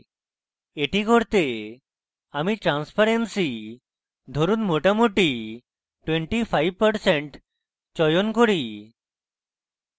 এটি করতে আমি transparency ধরুন মোটামুটি 25% চয়ন করি